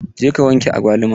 Je ka wanke agwaluman!